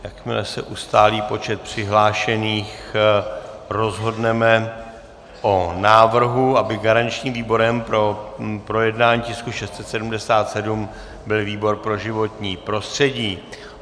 Jakmile se ustálí počet přihlášených, rozhodneme o návrhu, aby garančním výborem pro projednání tisku 677 byl výbor pro životní prostředí.